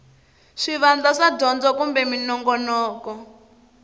swivandla swa dyondzo kumbe minongonoko